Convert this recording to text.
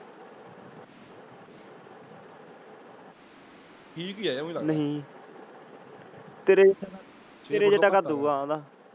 ਨਹੀਂ ਤੇਰੇ ਤੇਰੇ ਜਿੱਡਾ ਕੱਦ ਹੋਊਗਾ ਓਹਦਾ।